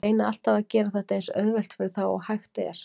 Ég reyni alltaf að gera þetta eins auðvelt fyrir þá og hægt er.